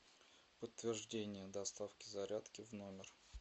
подтверждение доставки зарядки в номер